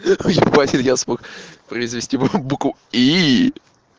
ебать я смог произнести букву и